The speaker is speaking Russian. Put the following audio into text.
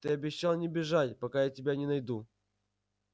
ты обещал не бежать пока я тебя не найду